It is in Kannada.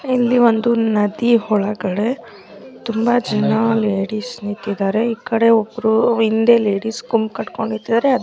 ಇಲ್ಲಿ ಒಂದು ನದಿ ಒಳಗಡೆ ತುಂಬಾ ಜನ ಲೇಡೀಸ್ ನಿಂತಿದ್ದಾರೆ ಈ ಕಡೆ ಒಬ್ಬರು ಇಂದೇ ಲೇಡೀಸ್ ಗುಮ್ಕಟ್ಕೊಂಡಿದ್ದಾರೆ --